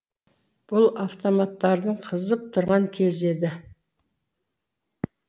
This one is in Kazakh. бұл автоматтардың қызып тұрған кезі еді